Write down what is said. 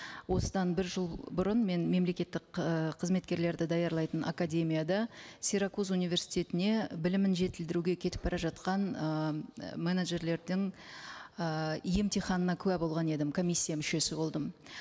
осыдан бір жыл бұрын мен мемлекеттік ыыы қызметкерлерді даярлайтын академияда сиракуз университетіне білімін жетілдіруге кетіп бара жатқан ы менеджерлердің ы емтиханына куә болған едім комиссия мүшесі болдым